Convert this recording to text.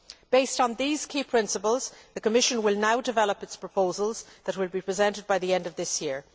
Based on these key principles, the Commission will now develop its proposals for presentation by the end of this year.